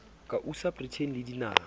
ka usa britain le dinaha